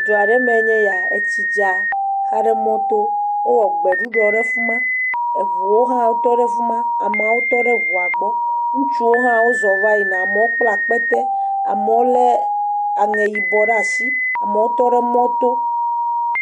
Du aɖe me enye ya, etsi dza xa ɖe mɔto, wowɔ gbeɖuɖɔ ɖe fima, eŋuo hã wotɔ ɖe fima ameawo tɔ ɖe ŋua gbɔ, ŋutsuo hã wozɔ va yina. Amewo kpla akpete, amewo le aŋe yibɔ ɖasi, amewo tɔ ɖe mɔto.